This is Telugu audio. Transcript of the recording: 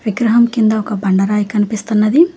విగ్రహం కింద ఒక బండ రాయి కనిపిస్తున్నది.